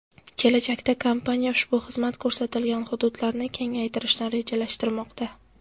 Kelajakda kompaniya ushbu xizmat ko‘rsatilgan hududlarni kengaytirishni rejalashtirmoqda.